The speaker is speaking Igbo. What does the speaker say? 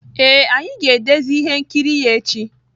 Ee, anyị ga-edezi ihe nkiri ya echi.